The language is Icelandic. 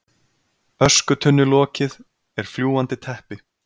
Öskutunnulokið er fljúgandi teppi.